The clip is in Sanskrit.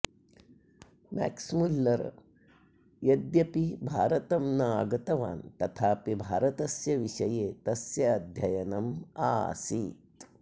म्यक्स् मुल्लरः यद्यपि भारतं न आगतवान् तथापि भारतस्य विषये तस्य अध्ययनं आसीत्